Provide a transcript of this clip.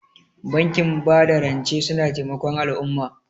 Bankin bada rance suna taimakon al'umma.